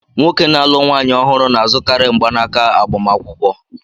Nwoke na-alụ nwaanyị ọhụrụ na-azụkarị mgbanaka agbamakwụkwọ